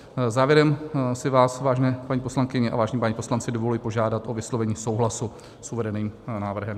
Závěrem si vás, vážené paní poslankyně a vážení páni poslanci, dovoluji požádat o vyslovení souhlasu s uvedeným návrhem.